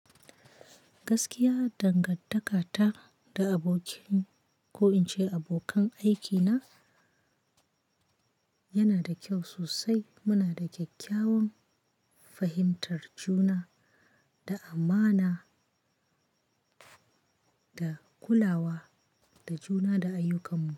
Gaskiya dangan takata da abokin ko in ce abokan aikina yana da kyau sosai. Muna da kyakkyawan fahimtar juna, da amana, da kulawa, da juna da ayyukansu.